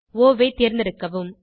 ஒ ஐ தேர்ந்தெடுக்கவும்